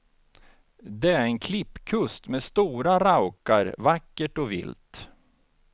Det är en klippkust med stora raukar, vackert och vilt.